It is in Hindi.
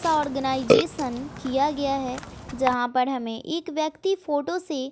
सा ऑर्गेनाइजेशन किया गया है जहां पर हमें एक व्यक्ति फोटो से--